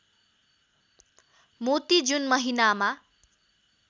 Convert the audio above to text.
मोती जुन महिनामा